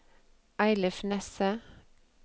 Eilif Nesset